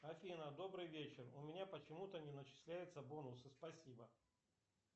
афина добрый вечер у меня почему то не начисляются бонусы спасибо